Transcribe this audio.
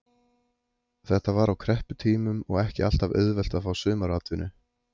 Þetta var á krepputímum og ekki alltaf auðvelt að fá sumaratvinnu.